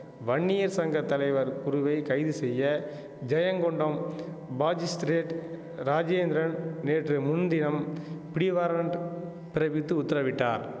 வன்னியர் சங்க தலைவர் குருவை கைது செய்ய ஜெயங்கொண்டம் பாஜிஸ்திரேட் ராஜேந்திரன் நேற்று முன்தினம் பிடிவாரன்ட் பிறப்பித்து உத்தரவிட்டார்